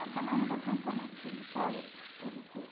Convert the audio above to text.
E a sua mãe nunca contou muitas histórias para vocês?